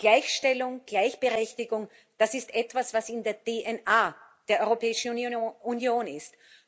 Gleichstellung, Gleichberechtigung das ist etwas, was in der DNS der Europäischen Union ist.